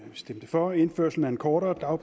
stemte for indførelsen af en kortere